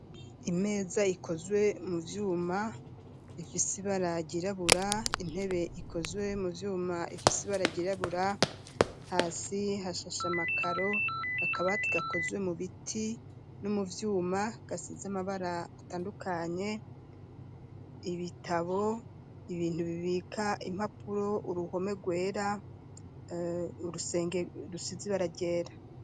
Imeza ikozwe mu vyuma ifise ibara ryurabura intebe ikozwe mu vyuma ifise ibara ryirabura hasi hashashamakaro akaba ati gakozwe mu biti no mu byuma gasiz'amabara atandukanye ibitabo ibintu bibika impapuro uruhome rwera urusenge rusize ibara ryera.